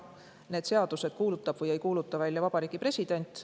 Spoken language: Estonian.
Need seadused kuulutab või ei kuuluta välja Vabariigi President.